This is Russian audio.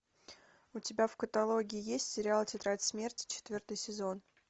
у тебя в каталоге есть сериал тетрадь смерти четвертый сезон